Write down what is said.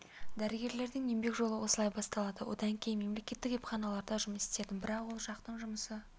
дәрігерлердің еңбек жолы осылай басталады одан кейін мемлекеттік емханаларда жұмыс істедім бірақ ол жақтың жұмысы